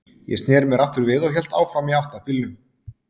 Ég sneri mér aftur við og hélt áfram í átt að bílnum.